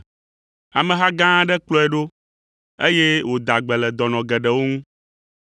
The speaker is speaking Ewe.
Ameha gã aɖe kplɔe ɖo, eye wòda gbe le dɔnɔ geɖewo ŋu.